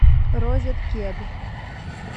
розет кед